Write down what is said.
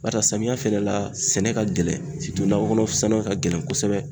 Barisa samiya fɛnɛ la sɛnɛ ka gɛlɛn nakɔ kɔnɔ sɛnɛ ka gɛlɛn kosɛbɛ.